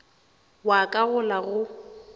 wa ka go la go